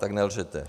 Tak nelžete.